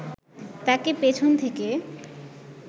তাকে পেছন থেকে